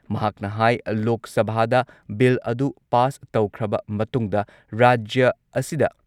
ꯃꯍꯥꯛꯅ ꯍꯥꯏ ꯂꯣꯛ ꯁꯚꯥꯗ ꯕꯤꯜ ꯑꯗꯨ ꯄꯥꯁ ꯇꯧꯈ꯭ꯔꯕ ꯃꯇꯨꯡꯗ ꯔꯥꯖ꯭ꯌ ꯑꯁꯤꯗ